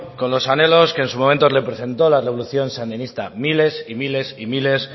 con los anhelos que en su momento representó la revolución sandinista miles y miles y miles